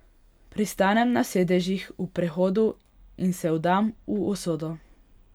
Pristanem na sedežih v prehodu in se vdam v usodo.